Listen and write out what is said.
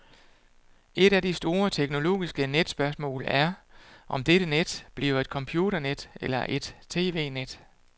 Et af de store teknologiske netspørgsmål er, om dette net bliver et computernet eller et tv-net.